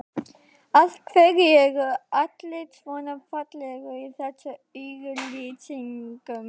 Af hverju eru allir svona fallegir í þessum auglýsingum?